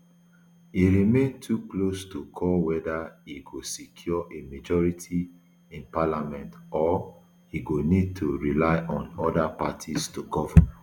e remain too close to call weda e go secure a majority in parliament or e go need to rely on oda parties to govern